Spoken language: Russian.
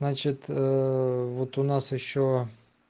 значит вот у нас ещё